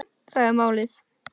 Það er málið